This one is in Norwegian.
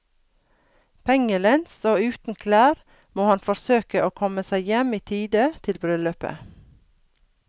Pengelens og uten klær må han forsøke å komme seg hjem i tide til bryllupet.